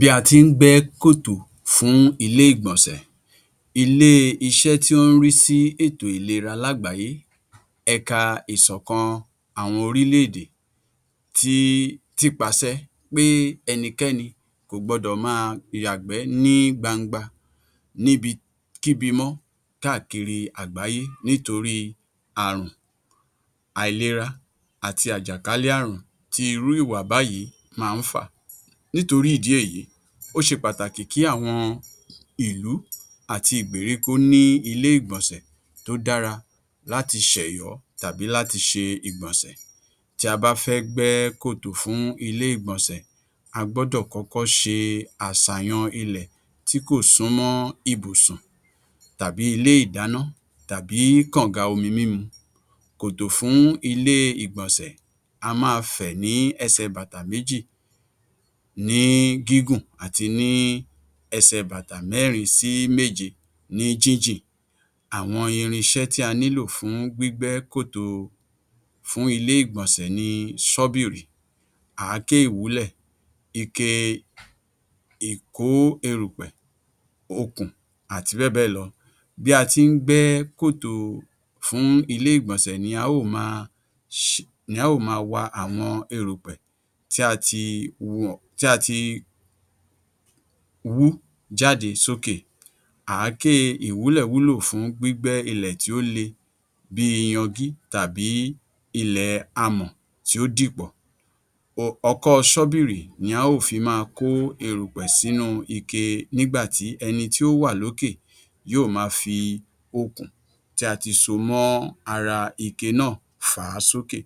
Bí a ti ńgbẹ kòtò fún ilé ìgbọ̀nsẹ̀, ilé iṣẹ́ tí wọ́n ń rí sí ètò ìlera lágbàáyé ẹ̀ka ìsọ̀kan àwọn orílẹ̀-èdè tí tí pasẹ́ pé ẹnìkẹ́ni kò gbọdọ̀ máa yàgbẹ̀ ní gbàngbà níbikíbi mọ́ káàkiri àgbáyé nítorí àrùn àìlera àti àjàkálẹ̀-ààrùn tí irú ìwà báyìí máa ń fa. Nítorí ìdí èyí, ó ṣe pàtàkì kí àwọn ìlú àti ìgbèrí kó ní ilé ìgbọ̀nsẹ̀ tó dára láti ṣẹ̀yọ tàbí láti ṣe ìgbọ̀nsẹ̀. Tí a bá fẹ́ gbẹ kòtò fún ilé ìgbọ̀nsẹ̀, a gbọdọ̀ kọ́kọ́ ṣe àsàyàn ilẹ̀ tí kò súnmọ́ ibùsùn tàbí ilé ìdáná tàbí kàngà omi mímu. Kòtò fún ilé ìgbọ̀nsẹ̀ a máa fẹ́ ní ẹsẹ̀ bàtà méjì ní gígùn àti ní ẹsẹ̀ bàtà mẹ́rin sí méje ní jínjìn. Àwọn irinṣẹ́ tí a nílò fún gbigbẹ̀ kòtò fún ilé ìgbọ̀nsẹ̀ ni Ṣọ̀bìrì, àáké ìwúlẹ̀, ìké, ìkó erùpẹ̀, òkùn, àti bẹ́ẹ̀ bẹ́ẹ̀ lọ. Bí a ti ńgbẹ kòtò fún ilé ìgbọ̀nsẹ̀ ni a ò máa wá àwọn erùpẹ̀ tí a ti wú jáde sókè. Àáké ìwúlẹ̀ wúlò fún gbigbẹ̀ ilẹ̀ tí ó le bí iyàngí tàbí ilẹ̀ amọ́ tí ó dìpọ̀. Ọkọ Ṣọ̀bìrì ni a ò fi máa kó erùpẹ̀ sínú ìké nígbàtí ẹni tí ó wà lókè yóò máa fi òkùn tí a ti sọmọ́ ara ìké náà fà á sókè.